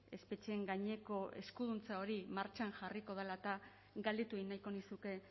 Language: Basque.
espetxeen gaineko eskuduntza hori martxan jarriko dela eta galdetu egin nahiko nizuke